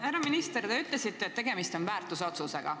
Härra minister, te ütlesite, et tegemist on väärtusotsusega.